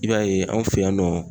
I b'a ye anw fɛ yan nɔ.